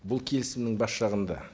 бұл келісімнің бас жағында